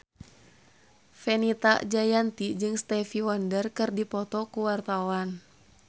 Fenita Jayanti jeung Stevie Wonder keur dipoto ku wartawan